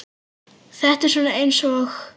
Þetta er svona eins og.